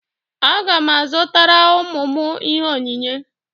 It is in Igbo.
Aga m azụtara ụmụ m ihe onyinye.